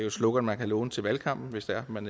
et slogan man kan låne til valgkampen hvis det er man